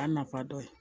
A nafa dɔ ye